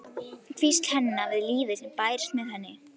Hvísl hennar við lífið sem bærist með henni.